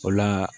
O la